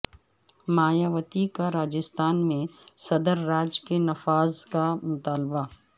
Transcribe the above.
مایاوتی کا راجستھان میں صدرراج کے نفاذ کا مطالبہ